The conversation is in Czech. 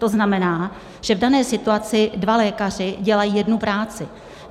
To znamená, že v dané situaci dva lékaři dělají jednu práci.